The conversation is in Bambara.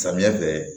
Samiya fɛ